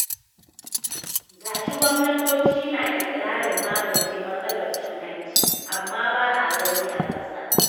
Ga shi gwamnatoci na iƙirarin magance matsalar cin hanci, amma ba a gani a ƙasa.